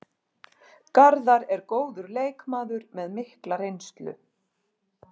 Garðar er góður leikmaður með mikla reynslu.